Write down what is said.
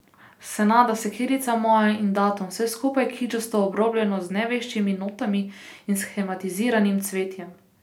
Senada, sekirica moja in datum, vse skupaj kičasto obrobljeno z neveščimi notami in shematiziranim cvetjem.